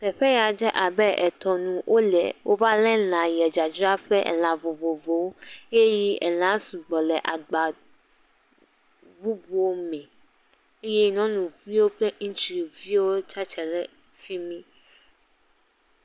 Teƒe ya dze abe tɔnu, wova lé lã ye dzadzraƒe. Elã vovovowo eye lã sugbɔ le agba bubuwo me eye nyɔnuviwo kple ŋutsuwo tsiatre ɖe fi mi.